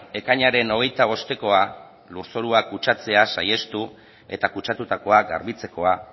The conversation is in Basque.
ekainaren hogeita bostekoa lurzoruak kutsatzea saihestu eta kutsatutakoak garbitzekoa